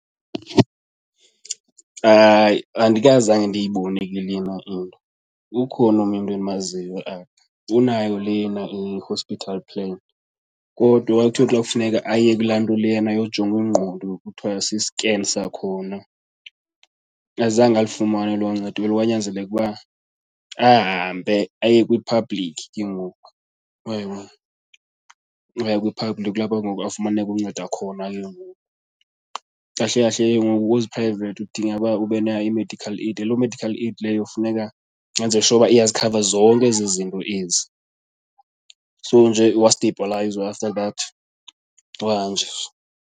Hayi, andikazange ndiyibone ke lena into, ukhona umntu endimaziyo like unayo lena i-hospital plan kodwa wathi xa kufuneka aye kulaa nto lena yojongwa ingqondo kuthiwa si-scan sakhona azange alifumane elo ncedo elo. Kwanyanzeleka ukuba ahambe aye kwi-public ke ngoku, uyayibona. Waya kwi-public kulapho ke ngoku afumaneka uncedo khona ke ngoku. Kahle kahle ke ngoku kwezi private udinga ukuba ube nayo i-medical aid, loo medical aid leyo funeka wenze sure uba iyazikhava zonke ezi zinto ezi. So nje wastibhalayizwa after that wahanjiswa.